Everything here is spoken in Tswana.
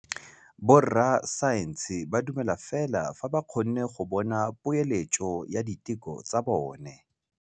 Borra saense ba dumela fela fa ba kgonne go bona poeletsô ya diteko tsa bone.